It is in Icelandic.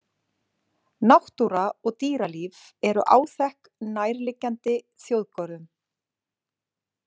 Náttúra og dýralíf eru áþekk nærliggjandi þjóðgörðum.